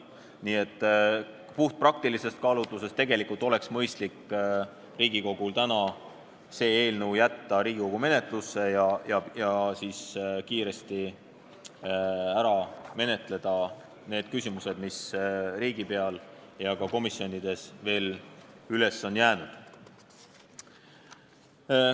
Nii et puhtpraktilisest kaalutlusest lähtudes oleks Riigikogul mõistlik jätta see seadus täna Riigikogu menetlusse ja kiiresti ära menetleda need küsimused, mis riigipeal ja ka komisjonides üles on jäänud.